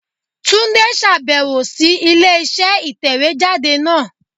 Túndé sàbẹ̀wò sí ilé iṣẹ́ ìtẹ̀wé jáde náà